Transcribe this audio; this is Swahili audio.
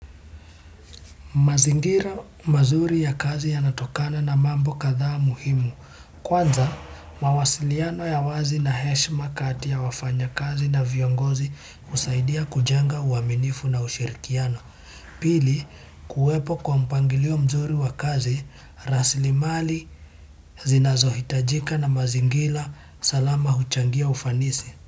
Mazingira mazuri ya kazi yanatokana na mambo kadhaa muhimu. Kwanza, mawasiliano ya wazi na heshima kati ya wafanyakazi na viongozi husaidia kujenga uaminifu na ushirikiano. Pili, kuwepo na mpangilio mzuri wa kazi, rasilimali zinazohitajitajika na mazingira salama huchangia ufanisi.